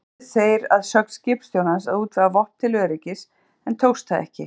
Reyndu þeir að sögn skipstjórans að útvega vopn til öryggis, en tókst það ekki.